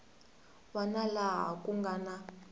wana laha ku nga na